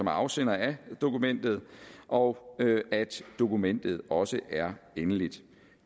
afsender af dokumentet og at dokumentet også er endeligt